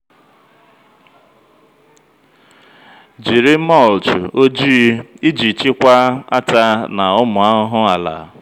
jiri mulch ojii iji chịkwaa ata na ụmụ ahụhụ ala.